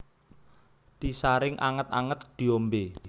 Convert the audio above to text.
Disaring anget anget diombe